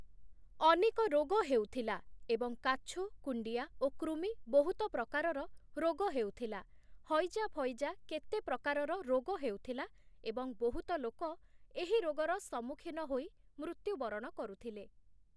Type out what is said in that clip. ଅନେକ ରୋଗ ହେଉଥିଲା ଏବଂ କାଛୁ, କୁଣ୍ଡିଆ ଓ କୃମି ବହୁତ ପ୍ରକାରର ରୋଗ ହେଉଥିଲା, ହଇଜା-ଫଇଜା କେତେ ପ୍ରକାରର ରୋଗ ହେଉଥିଲା ଏବଂ ବହୁତ ଲୋକ ଏହି ରୋଗର ସମ୍ମୁଖୀନ ହୋଇ ମୃତ୍ୟୁ ବରଣ କରୁଥିଲେ ।